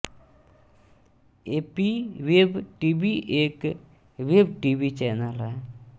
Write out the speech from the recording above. AP web TV एक web TV channel है